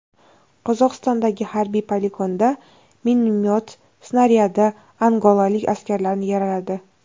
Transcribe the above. Qozog‘istondagi harbiy poligonda minomyot snaryadi angolalik askarlarni yaraladi.